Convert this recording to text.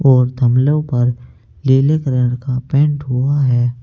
और पर नीले कलर का पेंट हुआ है।